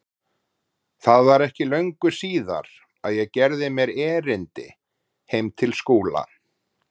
Það var ekki löngu síðar að ég gerði mér erindi heim til Skúla.